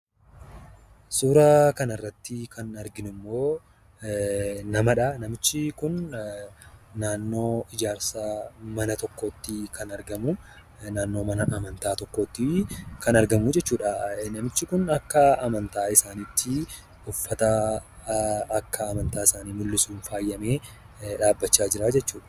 Suuraa kanarratti kan arginu immoo namadha. Namichi kun naannoo ijaarsa mana tokkootti kan argamu. Naannoo mana amantaa tokkooti kan argamuu jechuudha. Namichi kun akka amantaa isaaniitti, uffata akka amantaa isaanii mul'isuun faayamee dhaabbachaa jira jechuudha.